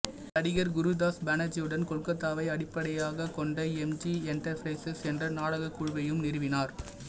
நடிகர் குருதாஸ் பானர்ஜியுடன் கொல்கத்தாவை அடிப்படையாகக் கொண்ட எம்ஜி என்டர்பிரைசஸ் என்ற நாடகக் குழுவையும் நிறுவினார்